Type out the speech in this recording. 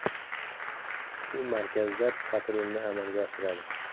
U markazda patrulni amalga oshiradi.